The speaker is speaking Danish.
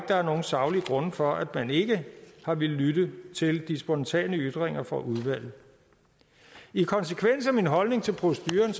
der er nogen saglige grunde for at man ikke har villet lytte til de spontane ytringer fra udvalget i konsekvens af min holdning til proceduren